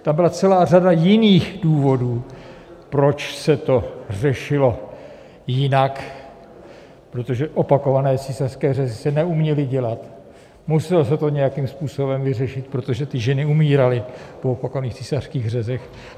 Tam byla celá řada jiných důvodů, proč se to řešilo jinak, protože opakované císařské řezy se neuměly dělat, muselo se to nějakým způsobem vyřešit, protože ty ženy umíraly po opakovaných císařských řezech.